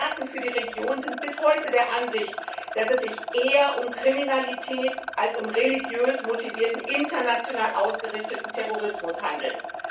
Experten für die Region sind bis heute der Ansicht, dass es sich eher um Kriminalität als um religiös motivierten international ausgerichteten Terrorismus handelt.